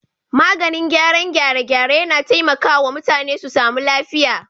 Maganin gyaran gyare-gyare yAna taimaka wa mutane su samu lafiya